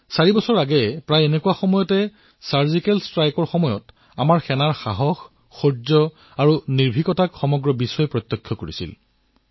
চাৰি বছৰ পূৰ্বে এই সময়ছোৱাতেই ছাৰ্জিকেল ষ্ট্ৰাইকৰ সময়ছোৱাত বিশ্বই আমাৰ জোৱানসকলৰ সাহস শৌৰ্য আৰু নিৰ্ভীকতা প্ৰত্যক্ষ কৰিছিল